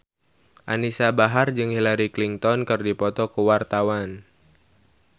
Anisa Bahar jeung Hillary Clinton keur dipoto ku wartawan